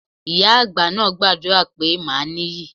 Ìyá àgbà náà gbàdúrà pé màá níyì.